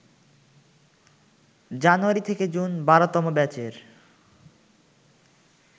জানুয়ারি-জুন ১২তম ব্যাচের